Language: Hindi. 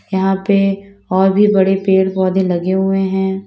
यहां पे और भी बड़े पेड़ पौधे भी लगे हुए हैं।